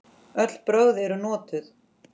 Öll brögð eru notuð.